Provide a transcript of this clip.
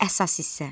Əsas hissə.